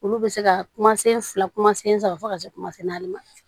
Olu bɛ se ka kuma sen fila kuma sen saba fo ka se kuma naani ma